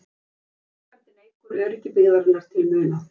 Framkvæmdin eykur öryggi byggðarinnar til muna